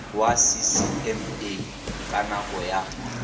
wa ccma ka nako ya